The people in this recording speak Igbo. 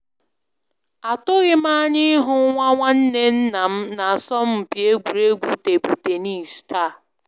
Atụghịm anya ịhụ nwa nwanne nnam na asọmpi egwuregwu table tennis taa